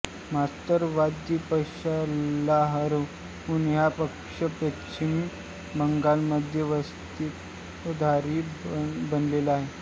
मार्क्सवादी पक्षाला हरवून हा पक्ष पश्चिम बंगालमध्ये सत्ताधारी बनलेला आहे